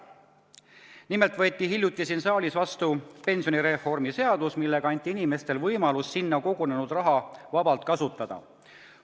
Nimelt võeti hiljuti siin saalis vastu pensionireformi seadus, millega anti inimestele võimalus sinna kogunenud raha vabalt kasutada.